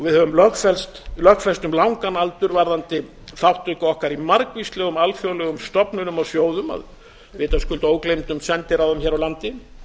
við höfum lögfest um langan aldur varðandi þátttöku okkar í margvíslegum alþjóðlegum stofnunum og sjóðum að vitaskuld ógleymdum sendiráðum hér á landi